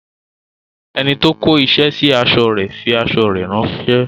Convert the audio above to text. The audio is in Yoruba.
Enito kó isẹ sí aṣọ fi aṣọ rè ránsẹ́